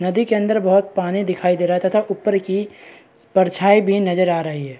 नदी के अंदर बहुत पानी दिखाई दे रहा है तथा ऊपर की परछाई भी नजर आ रही है।